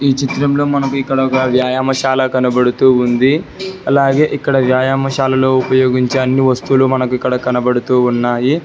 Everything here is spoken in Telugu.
ఈ చిత్రంలో మనకు ఇక్కడ ఒక వ్యాయామశాల కనబడుతూ ఉంది అలాగే ఇక్కడ వ్యాయామశాలలో ఉపయోగించే అన్ని వస్తువులు మనకు ఇక్కడ కనబడుతూ ఉన్నాయి.